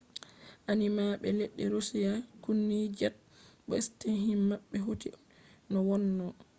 ainaaɓe leddi roshiya kunni jet bo steshin maɓɓe hoti no wonno